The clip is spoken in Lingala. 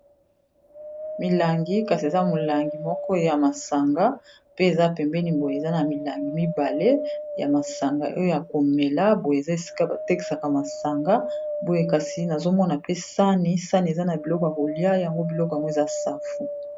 Milangi kasi eza molangi moko ya masanga pe eza pembeni boye eza na milangi mibale ya masanga oyo ya komela boye eza esika batekisaka masanga boye kasi nazomona pe sani sani eza na biloko ya kolia yango biloko yango eza safu.